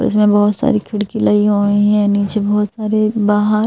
उसमें बहुत सारी खिड़की लगी हुई हैं नीचे बहुत सारे बाहर।